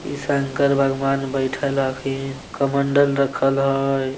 इ शंकर भगवान बैठल हथीन कमंडल रखल हेय।